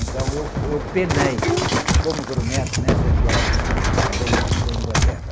Então eu fui, eu penei como grumete nessa viagem para ir para a in, para a Inglaterra.